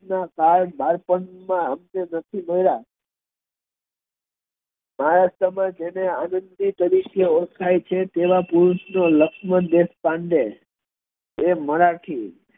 ના બાળપણ માં અમને નથી મળ્યા મારા સમયે જેને આનંદી તરીકે ઓળખાય છે તેવ પુરુષ લક્ષ્મણ દેશપાંડે એ મરાઠી